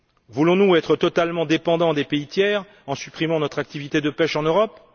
Voulons nous être totalement dépendants des pays tiers, en supprimant notre activité de pêche en Europe?